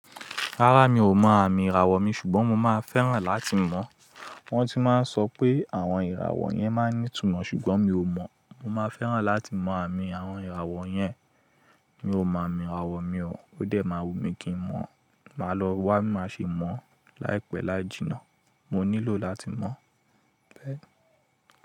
Rárá mi ò mọ àmì ìràwọ̀ mi ṣùgbọ́n mo máa fẹ́ràn láti mọ̀. Wọ́n ti máa ń sọ pé àwọn ìràwọ̀ yẹn máa ń ní ìtumọ̀ ṣùgbọ́n mi ò mọ̀. Mo máa fẹ́ràn láti mọ àmì àwọn ìràwọ̀ yẹn. Mi ò mọ àmì ìràwọ̀ mi o, ó dẹ̀ máa wù mí kí n mọ̀. Màá lọ wá bi máa ṣe mọ̀ láìpẹ́ lájìnà. Mo nílò láti mọ̀.